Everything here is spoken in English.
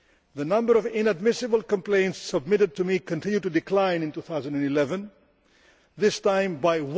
The number of inadmissible complaints submitted to me continued to decline in 2011, this time by